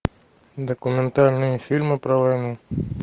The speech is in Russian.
документальные фильмы про войну